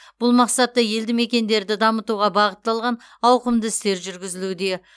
бұл мақсатта елді мекендерді дамытуға бағытталған ауқымды істер жүргізілуде